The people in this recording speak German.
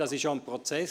Dies ist ein Prozess.